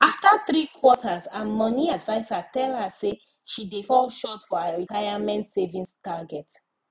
after three quarters her money adviser tell her say she dey fall short for her retirement savings target